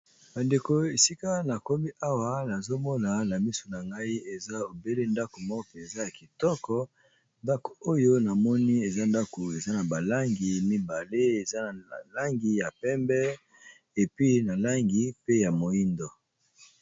Ba ndeko esika na komi awa nazomona na misu na ngai eza ebele ndako moko mpenza ya kitoko ndako oyo na moni eza ndako eza na balangi mibale eza na langi ya pembe epi na langi pe ya moindo.